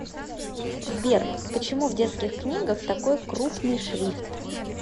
сбер почему в детских книгах такой крупный шрифт